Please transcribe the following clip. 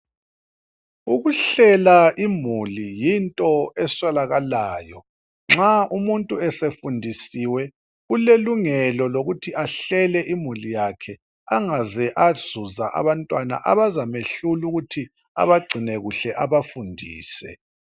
Ukuhlela imuli yinto eswelakalayo. Nxa umuntu esefundisiwe, ulelungelo lokuthi ahlele imuli yakhe, angaze azuza abantwana abazamehlul' ukuthi abagcine kuhle, abafundise.